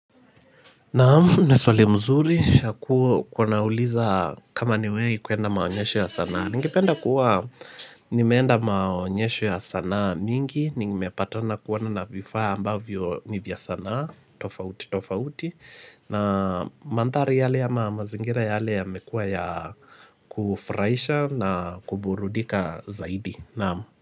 Naamu, ni swali mzuri ya kuonauliza kama ni wei kuenda maonyesho ya sanaa Ningipenda kuwa nimeenda maonyesho ya sanaa mingi Ningimepatana kuwana na vifaya ambavyo nivya sanaa tofauti, tofauti na manthari yale ya mazingira yale ya mekuwa ya kufurahisha na kuburudika zaidi Naamu.